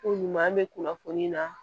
Ko ɲuman be kunnafoni na